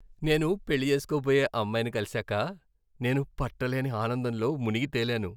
నేను పెళ్లి చేసుకోబోయే అమ్మాయిని కలిశాక నేను పట్టలేని ఆనందంలో మునిగితేలాను.